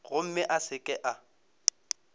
gomme a se ke a